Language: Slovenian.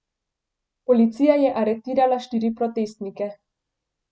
Policija je aretirala štiri protestnike.